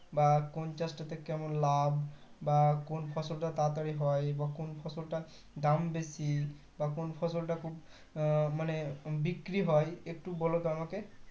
বা কোন চাষ টাতে কেমন লাভ বা কোন ফসল তা তাড়াতাড়ি হয় বা কোন ফসলটার দাম বেশি বা কোন ফসলটা খুব আহ মানে বিক্রি হয় একটু বলতো আমাকে